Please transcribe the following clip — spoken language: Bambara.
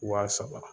Wa saba